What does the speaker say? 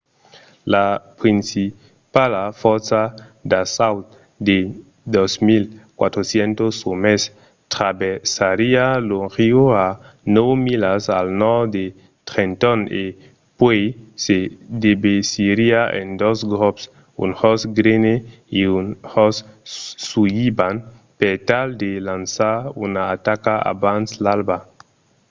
la principala fòrça d'assaut de 2 400 òmes traversariá lo riu a nòu milas al nòrd de trenton e puèi se devesiriá en dos grops un jos greene e un jos sullivan per tal de lançar una ataca abans l'alba